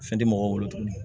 Fɛn tɛ mɔgɔw bolo tuguni